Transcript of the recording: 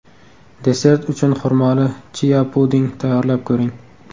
Desert uchun xurmoli chia-puding tayyorlab ko‘ring.